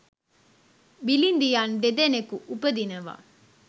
බිළිදියන් දෙදෙනෙකු උපදිනවා.